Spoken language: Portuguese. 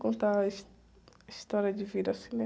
Contar a his, a história de vida, assim, né?